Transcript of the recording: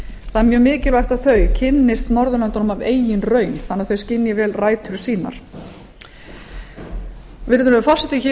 mjög mikilvægt að okkar ungmenni kynnist norðurlöndunum af eigin raun þannig að þau skynji vel rætur sínar virðulegur forseti hér